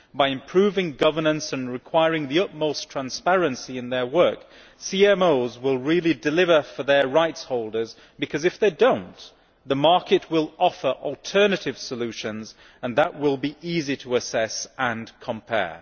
By improving governance and requiring the utmost transparency in their work, CMOs will really deliver for their rights holders, because if they do not, the market will offer alternative solutions, and that will be easy to assess and compare.